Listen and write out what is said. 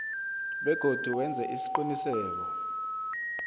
begodu wenze isiqiniseko